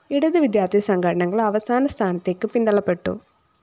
ഇടത് വിദ്യാര്‍ത്ഥി സംഘനടകള്‍ അവസാന സ്ഥാനത്തേക്ക് പിന്തള്ളപ്പെട്ടു